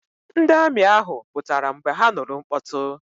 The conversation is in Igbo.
Ndị amị ahụ pụtara mgbe ha nụrụ mkpọtụ.